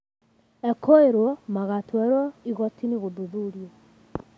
Ekũirwo magatuĩruo igooti-inĩ gũthuthurio.